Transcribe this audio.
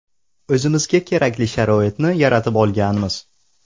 O‘zimizga kerakli sharoitni yaratib olganmiz.